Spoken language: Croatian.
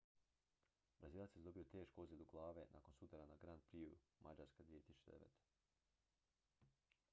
brazilac je zadobio tešku ozljedu glave nakon sudara na grand prixu mađarske 2009